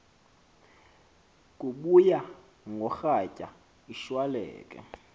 kubuya ngoratya ishwaleke